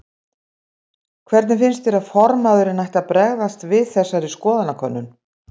Hvernig finnst þér að formaðurinn ætti að bregðast við þessari skoðanakönnun?